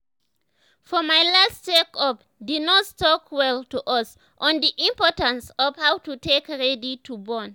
for my last check up the nurse talk well to us on the importance of how to take ready to born